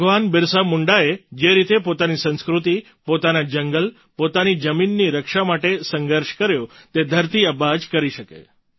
ભગવાન બિરસા મુંડાએ જે રીતે પોતાની સંસ્કૃતિ પોતાના જંગલ પોતાની જમીનની રક્ષા માટે સંઘર્ષ કર્યો તે ધરતી આબા જ કરી શકે